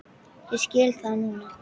Ég skil það núna.